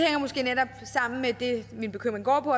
min bekymring går på